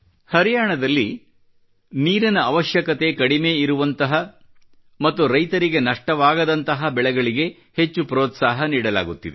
ಹರಿಯಾಣದಲ್ಲಿ ನೀರಿನ ಅವಶ್ಯಕತೆ ಕಡಿಮೆ ಇರುವಂತಹ ಮತ್ತು ರೈತರಿಗೆ ನಷ್ಟವಾಗದಂತಹ ಬೆಳೆಗಳಿಗೆ ಹೆಚ್ಚು ಪ್ರೋತ್ಸಾಹ ನೀಡಲಾಗುತ್ತಿದೆ